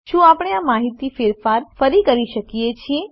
શું આપણે આ માહિતીમાં ફેરફાર કરી શકીએ છીએ